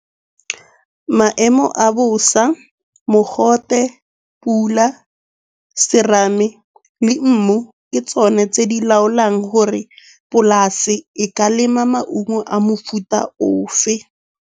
Maemo a bosa, mogote, pula, serame le mmu. Ke tsone tse di laolang gore polasi e ka lema maungo a mofuta o fe.